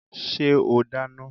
Ṣé o dáná?